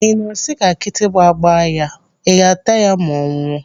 Ị na-asị ka kịtịkpa gbaa ya, ị ga ataya ma ọ nwụọ?